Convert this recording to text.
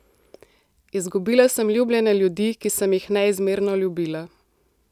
Izgubila sem ljubljene ljudi, ki sem jih neizmerno ljubila.